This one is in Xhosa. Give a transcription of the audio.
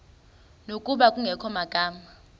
ngokuba kungekho magama